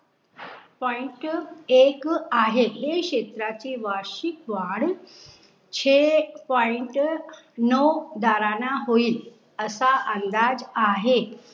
Point एक आहे. हे शेत्र ची वार्षिक द्वार छे पॉईंट नऊ दाराना होईल.